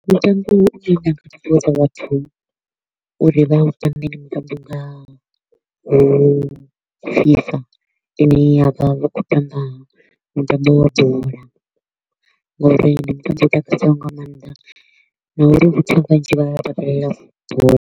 Mutambo u ne nda nga ṱuṱuwedza vhathu uri vha u tambe ndi mutambo u ngaho FIFA ine ya vha hu kho u tamba mutambo wa bola, ngauri ndi mutambo u takadzaho nga maanḓa na uri vhathu vhanzhi vha takalela bola.